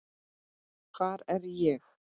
hvar er ég?